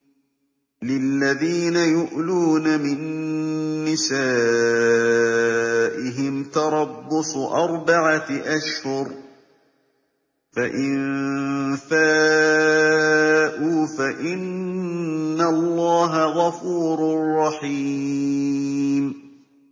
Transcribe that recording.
لِّلَّذِينَ يُؤْلُونَ مِن نِّسَائِهِمْ تَرَبُّصُ أَرْبَعَةِ أَشْهُرٍ ۖ فَإِن فَاءُوا فَإِنَّ اللَّهَ غَفُورٌ رَّحِيمٌ